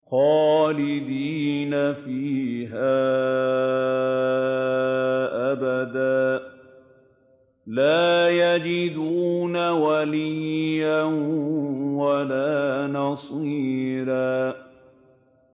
خَالِدِينَ فِيهَا أَبَدًا ۖ لَّا يَجِدُونَ وَلِيًّا وَلَا نَصِيرًا